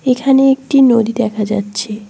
এখানে একটি নদী দেখা যাচ্ছে।